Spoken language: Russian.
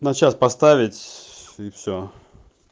на час поставить и все